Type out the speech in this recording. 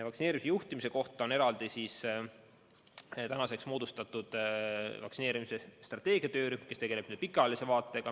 Vaktsineerimise juhtimiseks on eraldi moodustatud vaktsineerimise strateegia töörühm, kes tegeleb pikaajalise vaatega.